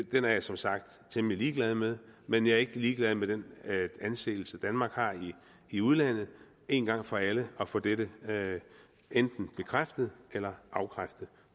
den er jeg som sagt temmelig ligeglad med men jeg er ikke ligeglad med den anseelse danmark har i udlandet en gang for alle at få dette enten bekræftet eller afkræftet